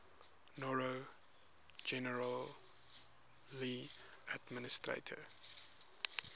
noro generally administer